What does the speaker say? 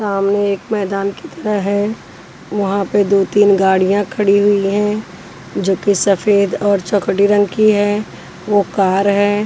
सामने एक मैदान की तरह है वहाँ पर दो तीन गाड़ियाँ खड़ी हुई हैं जोकि सफेद और चौखड़ी रंग की है वो कार है।